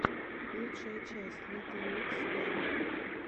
лучшая часть литтл микс вево